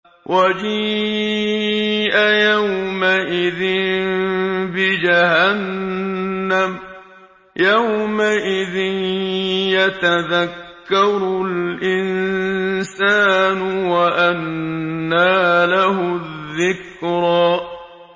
وَجِيءَ يَوْمَئِذٍ بِجَهَنَّمَ ۚ يَوْمَئِذٍ يَتَذَكَّرُ الْإِنسَانُ وَأَنَّىٰ لَهُ الذِّكْرَىٰ